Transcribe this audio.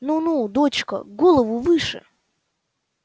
ну ну дочка голову выше